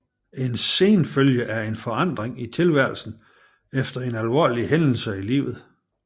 En senfølge er en forandring i tilværelsen efter en alvorlig hændelse i livet